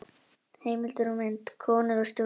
Heimildir og mynd: Konur og stjórnmál.